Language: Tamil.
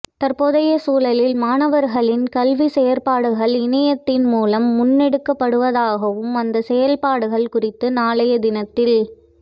தற்போதைய சூழலில் மாணவர்களின் கல்வி செயற்பாடுகள் இணையத்தின் மூலம் முன்னெடுக்கப்படுவதாகவும் அந்த செயற்பாடுகள் குறித்து நாளைய தினத்தில்